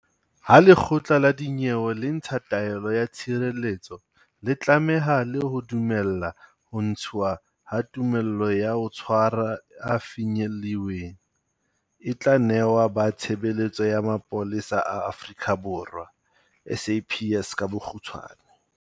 Ha lekgotla la dinyewe le ntsha taelo ya tshireletso, le tlameha le ho dumella ho ntshwa ha tumello ya ho tshwara e fanyeliweng, e tla nehwa ba tshebeletso ya Mapolesa a Afrika Borwa SAPS ka bokgutshawane.